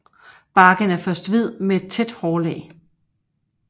Barken er først hvid med et tæt hårlag